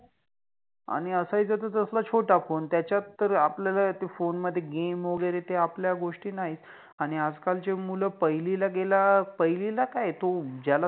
आणि असायचा त तसल छोटा फोन. त्याच्यात तर आपल्याला ते फोनमधे गेम वगेरे ते आपल्या गोष्टी नाहि. आणि आजकाल चि मुल पहिलि ला गेला पहिलिला काय तो ज्याला